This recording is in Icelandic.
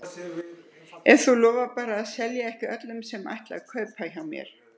Ef þú lofar bara að selja ekki öllum sem ætla að kaupa hjá mér.